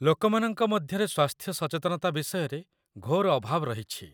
ଲୋକମାନଙ୍କ ମଧ୍ୟରେ ସ୍ୱାସ୍ଥ୍ୟ ସଚେତନତା ବିଷୟରେ ଘୋର ଅଭାବ ରହିଛି